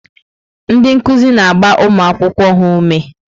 Ndị nkuzi na-agba ụmụ akwụkwọ ha ume.